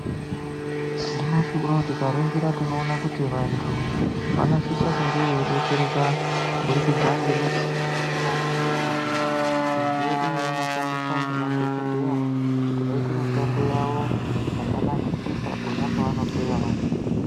Nyamashi uno tikaningira tinoona kuti vantu, vanosise kunge veidetsereka kubudikidza ngemichini yatinoona muzvibhedhleya. Midziyo iyi inoshandiswa ngemadhokodheya, kuti vaite mushando yavo, zvakanakisisa pona pavanohloya vantu .